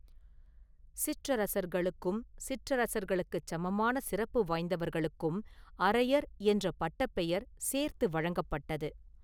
சிற்றரசர்களுக்கும், சிற்றரசர்களுக்குச் சமமான சிறப்பு வாய்ந்தவர்களுக்கும் அரையர் என்ற பட்டப் பெயர் சேர்த்து வழங்கப்பட்டது.